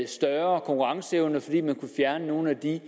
større konkurrenceevne fordi man kunne fjerne nogle af de